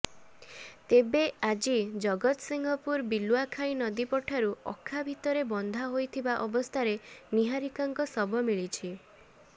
ତେବେ ଆଜି ଜଗତସିଂହପୁର ବିଲୁଆଖାଇ ନଦୀ ପଠାରୁ ଅଖା ଭିତରେ ବନ୍ଧା ହୋଇଥିବା ଅବସ୍ଥାରେ ନିହାରିକାଙ୍କ ଶବ ମିଳିଛି